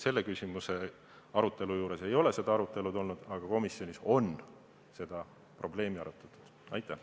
Selle eelnõu arutelul ei ole seda probleemi käsitletud, aga komisjonis on see probleem jutuks olnud.